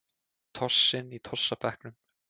Tossinn í tossabekknum.